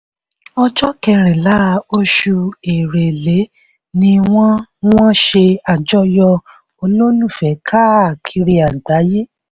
ọjọ́ kẹrìnlá oṣù èrèlé ni wọ́n wọ́n ṣe àjọyọ̀ olólùfẹ́ káàkiri àgbáyé.